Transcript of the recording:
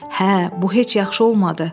Hə, bu heç yaxşı olmadı.